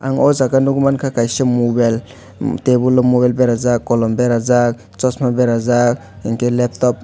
ang o jaga nogmang ka kaisa mobel em tebol o mobel beraijak kolom berajak sochma berajak hingke leptop.